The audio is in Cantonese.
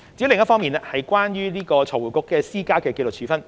另一方面是關於財匯局施加的紀律處分。